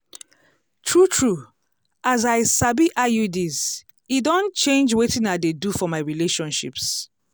true true as i sabi iuds e don change wetin i dey do for my relationships.